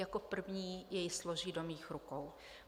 Jako první jej složí do mých rukou.